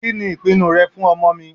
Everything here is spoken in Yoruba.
Kìnì ìpinu rẹ fún ọmọ mi?